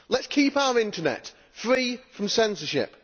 Let us keep our internet free from censorship.